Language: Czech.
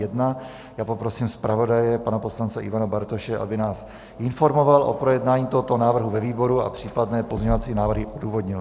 Já poprosím zpravodaje pana poslance Ivana Bartoše, aby nás informoval o projednání tohoto návrhu ve výboru a případné pozměńovací návrhy odůvodnil.